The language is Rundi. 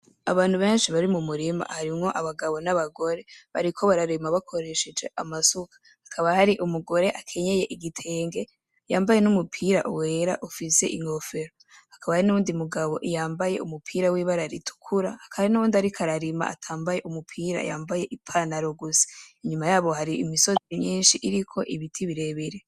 Abantu benshi bari mu murima. Harimwo abagabo n'abagore. Bariko bararima bakoresheje amasuka. Hakaba hari umugore akenyeye igitenge, yambaye n'umupira wera ufise inkofero. Hakaba hariho n'uwundi mugabo yambaye umupira w'ibara ritukura,. Hakaba hari n'uwundi ariko ararima atambaye umupira, yambaye ipantaro gusa. Inyuma yabo hari imisozi myinshi iriko ibiti birebire.